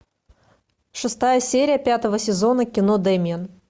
шестая серия пятого сезона кино демиан